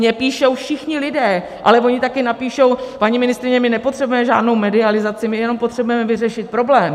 Mně píší všichni lidé, ale oni taky napíší - paní ministryně, my nepotřebujeme žádnou medializaci, my jenom potřebujeme vyřešit problém.